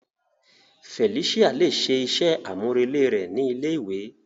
Felicia le ṣe iṣẹ amurele rẹ ni ilé ìwé.